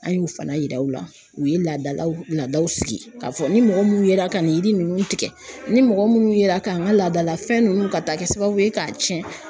An y'o fana yira u la, u ye laadalaw ladaw sigi, k'a fɔ ni mɔgɔ minnu yera ka nin yiri ninnu tigɛ, ni mɔgɔ minnu yera ka n ka laadalafɛn ninnu, ka taa kɛ sababu ye k'a tiɲɛ.